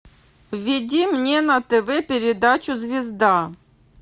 введи мне на тв передачу звезда